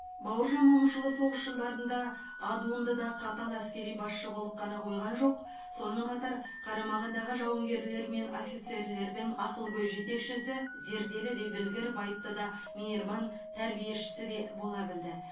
бауыржан момышұлы соғыс жылдарында адуынды да қатал әскери басшы болып қана қойған жоқ сонымен қатар қарамағындағы жауынгерлер мен офицерлердің ақылгөй жетекшісі зерделі де білгір байыпты да мейірман тәрбиешісі де бола білді